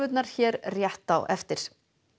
hér rétt á eftir